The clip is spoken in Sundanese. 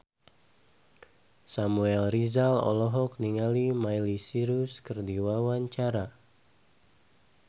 Samuel Rizal olohok ningali Miley Cyrus keur diwawancara